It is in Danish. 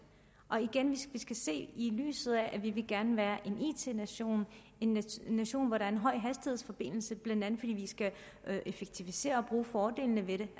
og igen i lyset af at vi gerne vil være en it nation en nation hvor der er en højhastighedsforbindelse blandt andet fordi vi skal effektivisere og bruge fordelene ved det